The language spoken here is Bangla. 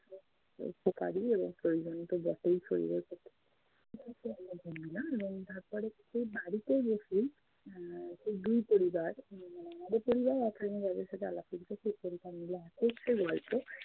প্রয়োজন তো বটেই শরীরের প্রতি। এবং তারপরে সেই বাড়িতে এসে আহ সেই দুই পরিবার উম আমাদের পরিবার আর train এ যাদের সাথে আলাপ হয়েছে সেই পরিবার মিলে একত্রে গল্প